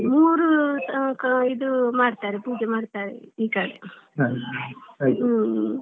ಮೂರು ಇದ್ ಮಾಡ್ತಾರೆ ಪೂಜೆ ಮಾಡ್ತಾರೆ ಈ ಕಡೆ ಹ್ಮ್‌.